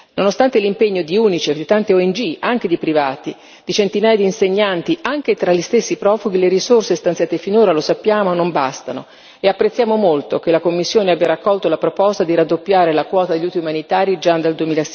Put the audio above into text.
Nonostante l'impegno di UNICEF, di tante ONG, anche di privati, di centinaia di insegnanti, anche tra gli stessi profughi, le risorse stanziate finora lo sappiamo non bastano e apprezziamo molto che la Commissione abbia raccolto la proposta di raddoppiare la quota degli aiuti umanitari già dal